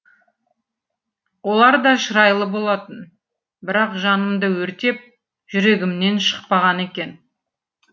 олар да шырайлы болатын бірақ жанымды өртеп жүрегімнен шықпаған екен